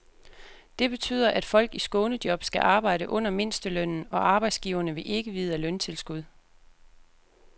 Det betyder, at folk i skånejob skal arbejde under mindstelønnen, og arbejdsgiverne vil ikke vide af løntilskud.